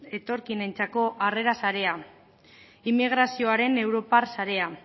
etorkinentzako harrera sarea immigrazioaren europar sarea